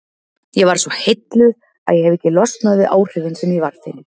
Ég varð svo heilluð að ég hefi ekki losnað við áhrifin sem ég varð fyrir.